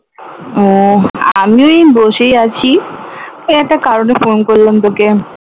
আহ আমিও এই বসেই আছি ওই একটা কারণে ফোন করলাম তোকে